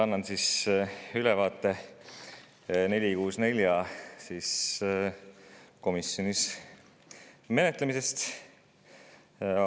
Annan ülevaate eelnõu 464 komisjonis menetlemisest.